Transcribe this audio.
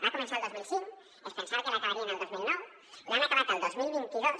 va començar el dos mil cinc es pensaven que l’acabarien el dos mil nou l’han acabat el dos mil vint dos